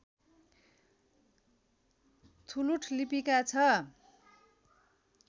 थुलुठ लिपिका छ